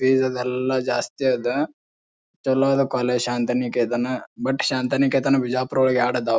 Fees ಅದ್ ಎಲ್ಲಾ ಜಾಸ್ತಿ ಅದ ಚಲೋ ಅದ college Shantiniketan. But Shantiniketan Bijapur ಒಳಗ್ ಯಾಡ್ ಅದಾವ.